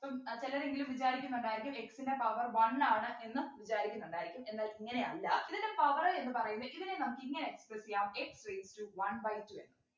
ഇപ്പം ഏർ ചിലരെങ്കിലും വിചാരിക്കുന്നുണ്ടായിരിക്കും x ൻ്റെ power one ആണ് എന്ന് വിചാരിക്കുന്നുണ്ടായിരിക്കും എന്നാൽ ഇങ്ങനെയല്ല ഇതിൻ്റെ power എന്ന് പറയുന്നത് ഇതിനെ നമുക്കിങ്ങനെ express ചെയ്യാം x raised to one by two ന്ന്